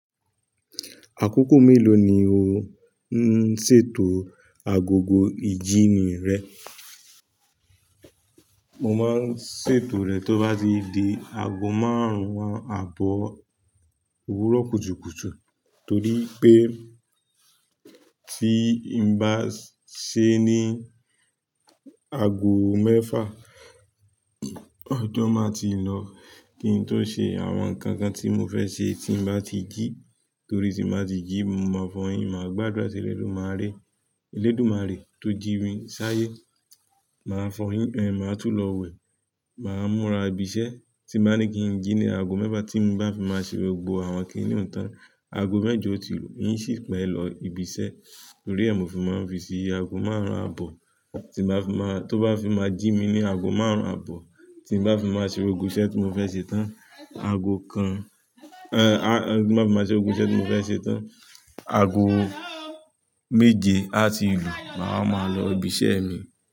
Àkókò mélòó ni o ń ṣètò agogo ìjíni rẹ? Mo máa ṣètò rẹ̀ tó bá ti di ago márùn-ún àbọ̀ òwúrọ̀ kùtùkùtù torí pé tí n bá ṣe ní ago mẹ́fà ọjọ́ máa ti lọ, kí n tó ṣe àwọn nǹkan kan tí mo fẹ́ ṣe tí n bá ti jí torí tí n bá ti jí mo máa fọyín, màá gbàdúrà tìrẹ dúmaré, elédùmarè tó jí mi sáyé. Màá fọyín, màá tún lọ wẹ̀, màá múra ibi iṣẹ́ tí màá ní kí n jí ní ago mẹ́fà tí n bá fi máa ṣe gbogbo àwọn kíníún tán. Ago mẹ́jọ ò tí lu, n ṣì pẹ́ lọ ibi iṣẹ́ torí ẹ múfì máa ń fi ṣi ago márùn-ún àbọ̀ tí màá fi máa, tó bá fi máa jí mi ní ago márùn-ún àbọ̀ tí n bá fi máa ṣe gbogbo iṣẹ́ tí mo fẹ́ ṣe tán, ago kan, bá fi máa ṣe gbogbo iṣẹ́ tí mo fẹ́ ṣe tán, ago méje á ti lu, màá máa lọ ibi iṣẹ́ mi.